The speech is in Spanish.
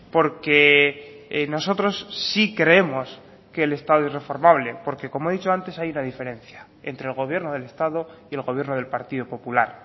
porque nosotros sí creemos que el estado es reformable porque como he dicho antes hay una diferencia entre el gobierno del estado y el gobierno del partido popular